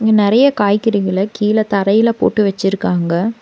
இங்க நெறைய காய்கறிகள கீழ தரையில போட்டு வெச்சுருக்காங்க.